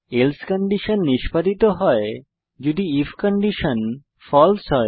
else condition নিস্পাদিত হয় যদি আইএফ কন্ডিশন ফালসে হয়